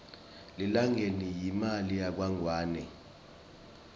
lilangeni yimali yakangwane